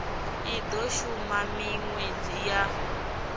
i do shuma minwedzi ya